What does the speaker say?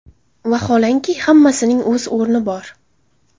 Vaholanki, hammasining o‘z o‘rni bor.